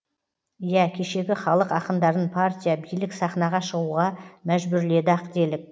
иә кешегі халық ақындарын партия билік сахнаға шығуға мәжбүрледі ақ делік